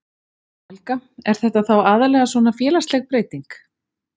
Helga: Er þetta þá aðallega svona félagsleg breyting?